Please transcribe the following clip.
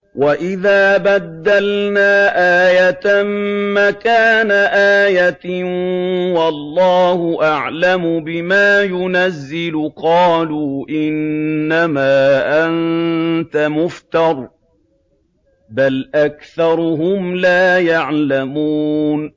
وَإِذَا بَدَّلْنَا آيَةً مَّكَانَ آيَةٍ ۙ وَاللَّهُ أَعْلَمُ بِمَا يُنَزِّلُ قَالُوا إِنَّمَا أَنتَ مُفْتَرٍ ۚ بَلْ أَكْثَرُهُمْ لَا يَعْلَمُونَ